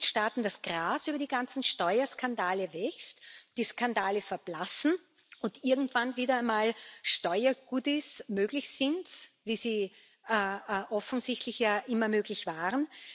Wollen die Mitgliedstaaten, dass Gras über die ganzen Steuerskandale wächst, die Skandale verblassen und irgendwann wieder einmal Steuergoodies möglich sind, wie sie offensichtlich ja immer möglich waren?